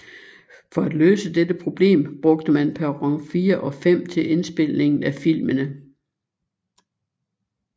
For at løse dette problem brugte man perron 4 og 5 til indspilningen af filmene